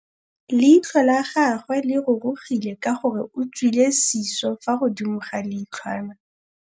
Leitlhô la gagwe le rurugile ka gore o tswile sisô fa godimo ga leitlhwana.